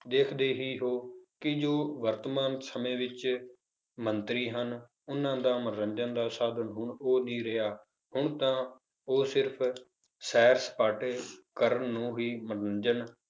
ਦੇਖਦੇ ਹੀ ਹੋ ਕਿ ਜੋ ਵਰਤਮਾਨ ਸਮੇਂ ਵਿੱਚ ਮੰਤਰੀ ਹਨ, ਉਹਨਾਂ ਦਾ ਮਨੋਰੰਜਨ ਦਾ ਸਾਧਨ ਹੁਣ ਉਹ ਨਹੀਂ ਰਿਹਾ ਹੁਣ ਤਾਂ ਉਹ ਸਿਰਫ਼ ਸੈਰ ਸਪਾਟੇ ਕਰਨ ਨੂੰ ਹੀ ਮਨੋਰੰਜਨ